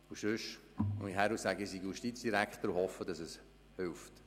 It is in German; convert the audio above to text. Sonst komme ich hierhin und sage: «Ich bin Justizdirektor», in der Hoffnung, dass es hilft.